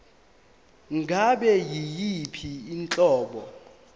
ngabe yiyiphi inhlobo